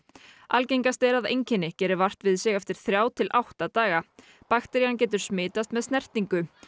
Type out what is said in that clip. algengast er að einkenni geri vart við sig eftir þrjá til átta daga bakterían getur smitast með snertingu